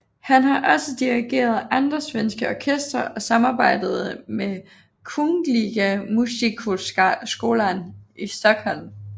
Han har også dirigeret andre svenske orkestre og samarbejdet med Kungliga Musikhögskolan i Stockholm